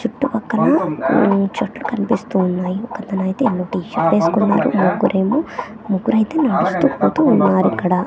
చుట్టుపక్కన మ్మ్ చెట్లు కన్పిస్తూ ఉన్నాయి ఒకతనైతే ఎల్లో టీ షర్ట్ ఏస్కున్నారు ముగ్గురేమో ముగ్గురైతే నడుస్తూ పోతూ ఉన్నారక్కడ.